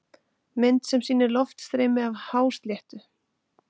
Mynd sem sýnir loftstreymi af hásléttu.